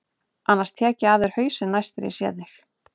Annars tek ég af þér hausinn næst þegar ég sé þig.